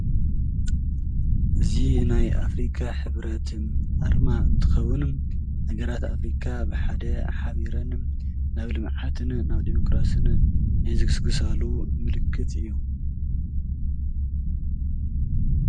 እዚ ናይ ኣፍሪካ ሕብረትን ኣርማ እንትኸውን ሃገራት ኣፍሪካ ብሓደ ሓቢረን ናብ ልምዓትን ናብ ዲሞክራስን ዝግስግሳሉ ምልክት እዩ።